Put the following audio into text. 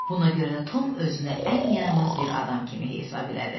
Buna görə də Tom özünü ən yaramaz bir adam kimi hesab elədi.